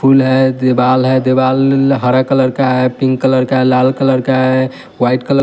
फूल है देवाल है देवाल हरे कलर का है पिंक कलर का है लाल कलर का है व्हाइट कल--